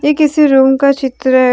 ये किसी रूम का चित्र है।